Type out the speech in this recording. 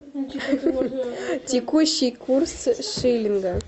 текущий курс шиллинга